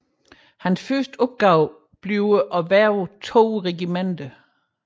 Hans første opgave bliver at hverve to regimenter